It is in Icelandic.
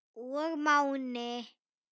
og Máni.